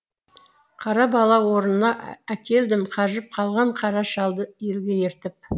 қара бала орынына әкелдім қажып қалған қара шалды елге ертіп